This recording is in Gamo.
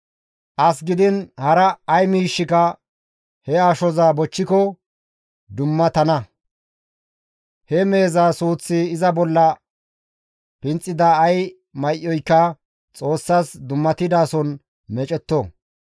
As gidiin hara ay miishshika he ashoza bochchiko dummatana; he meheza suuththi iza bolla pinxida ay may7oyka Xoossas dummatidason meecetto.